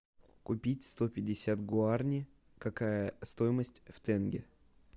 купить сто пятьдесят гуарани какая стоимость в тенге